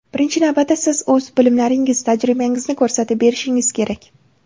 Birinchi navbatda siz o‘z bilimlaringiz, tajribangizni ko‘rsatib berishingiz kerak.